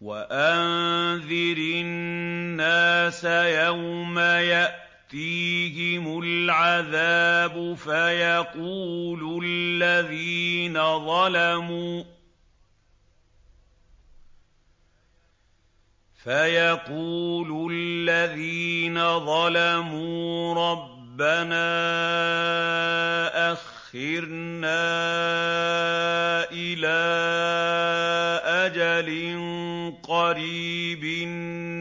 وَأَنذِرِ النَّاسَ يَوْمَ يَأْتِيهِمُ الْعَذَابُ فَيَقُولُ الَّذِينَ ظَلَمُوا رَبَّنَا أَخِّرْنَا إِلَىٰ أَجَلٍ قَرِيبٍ